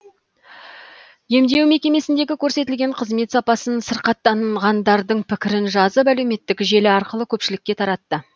емдеу мекемесіндегі көрсетілетін қызмет сапасын сырқаттанғандардың пікірін жазып әлеуметтік желі арқылы көпшілікке таратты